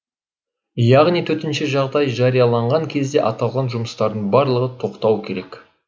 яғни төтенше жағдай жарияланған кезде аталған жұмыстардың барлығы тоқтауы керек